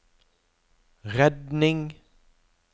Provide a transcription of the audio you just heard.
redning